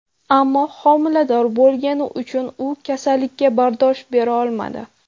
Ammo homilador bo‘lgani uchun u kasallikka bardosh berolmadi.